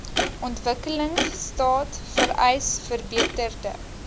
ontwikkelingstaat vereis verbeterde